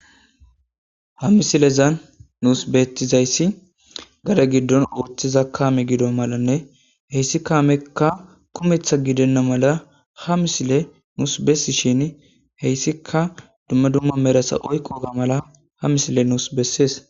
ha misilezan nuus beettizayssi gada giddon oothiza kaame gido malanne heyssi kaamekka kumetha gidenna mala ha misile nuus bessi shin heyssika dumma dumma merasa oykqoga mala ha misile nuus bessees